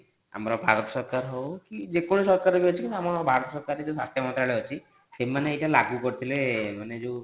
ଆମର ଭାରତ ସରକାର ହୋଉ କି ଯେ କୌଣସି ସରକାର ବି ଅଛି କିନ୍ତୁ ଆମ ଭାରତ ସରକାର ର ଯେଉଁ ସ୍ୱାସ୍ଥ୍ୟ ମନ୍ତ୍ରାଳୟ ଅଛି ସେମାନେ ଏଟା ଲାଗୁ କରୁଥିଲେ ମାନେ ଯେଉଁ